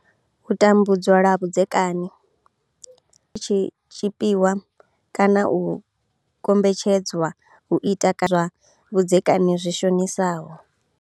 U tambudzwa lwa vhudzekani tshipondwa tshi tshi tshipiwa kana u kombetshed zwa u ita kana u vhona zwiito zwa vhudzekani zwi shonisaho.